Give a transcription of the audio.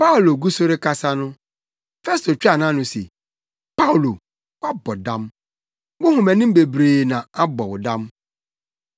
Paulo gu so rekasa no, Festo twaa nʼano se, “Paulo, woabɔ dam! Wo nhomanim bebrebe no abɔ wo dam.”